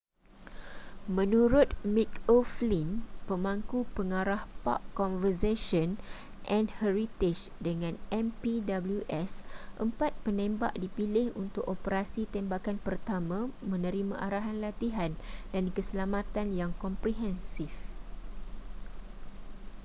menurut mick o'flynn pemangku pengarah park conversation and heritage dengan npws empat penembak dipilih untuk operasi tembakan pertama menerima arahan latihan dan keselamatan yang komprehensif